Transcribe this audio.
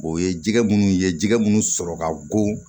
O ye jɛgɛ minnu ye jɛgɛ minnu sɔrɔ ka go